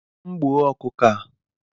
M gbuo ọkụkọ a?